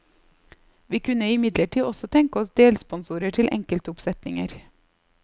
Vi kunne imidlertid også tenke oss delsponsorer til enkeltoppsetninger.